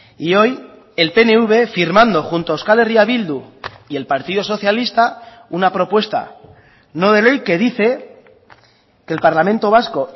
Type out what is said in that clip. y hoy el pnv firmando junto a euskal herria bildu y el partido socialista una propuesta no de ley que dice que el parlamento vasco